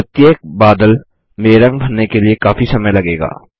प्रत्येक बादक में रंग भरने के लिए काफ़ी समय लगेगा